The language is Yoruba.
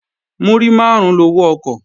Múrí máàrún lowó ọkọ̀